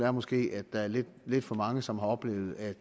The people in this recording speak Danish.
er måske at der er lidt for mange som har oplevet at